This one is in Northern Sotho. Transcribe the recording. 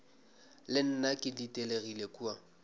le nna ke ditelegile kua